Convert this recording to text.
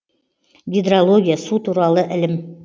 гидрология су туралы ілім